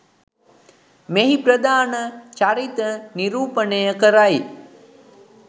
මෙහි ප්‍රධාන චරිත නිරූපණය කරයි.